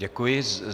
Děkuji.